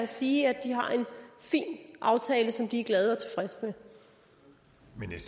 sige at de har en fin aftale som de er glade